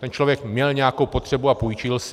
Ten člověk měl nějakou potřebu a půjčil si.